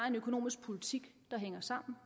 en økonomisk politik der hænger sammen